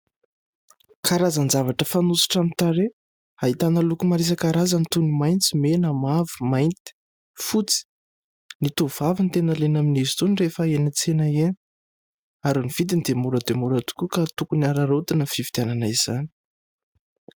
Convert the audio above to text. Karazan-javatra fanosotra amin'ny tarehy ahitana loko maro isankarazany toy ny maitso, mena, mavo, mainty, fotsy. Ny tovovavy no tena liana amin'izy itony rehefa eny an-tsena eny. Ary ny vidiny dia mora dia mora tokoa ka tokony araraotina ny fividianana izany.